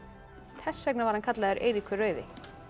þess vegna var hann kallaður Eiríkur rauði